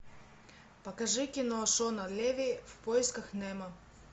покажи кино шона леви в поисках немо